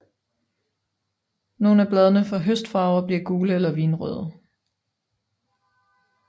Nogle af bladene får høstfarve og bliver gule eller vinrøde